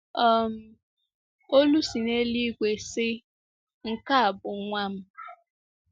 um Olu si n’eluigwe sị, “Nke a bụ Nwa m ”